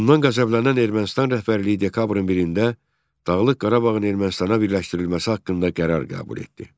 Bundan qəzəblənən Ermənistan rəhbərliyi dekabrın 1-də Dağlıq Qarabağın Ermənistana birləşdirilməsi haqqında qərar qəbul etdi.